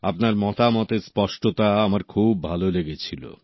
আপনার মতামতের স্পষ্টতা আমার খুব ভালো লেগে ছিল